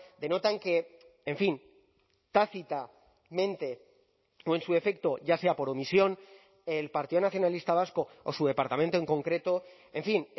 denotan que en fin tácitamente o en su defecto ya sea por omisión el partido nacionalista vasco o su departamento en concreto en fin